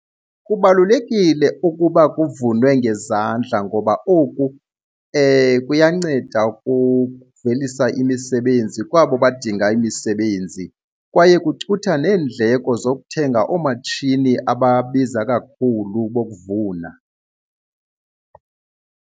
Kubalulekile ukuba kuvunwe ngezandla ngoba oku kuyanceda ukuvelisa imisebenzi kwabo badinga imisebenzi kwaye kucutha neendleko zokuthenga oomatshini ababiza kakhulu bokuvuna.